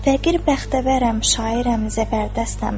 Fəqir bəxtəvərəm, şairəm, zəfərdəstəm.